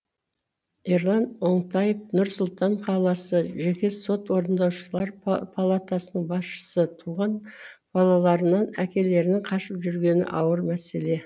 ерлан оңтаев нұр сұлтан қаласы жеке сот орындаушылар палатасының басшысы туған балаларынан әкелерінің қашып жүргені ауыр мәселе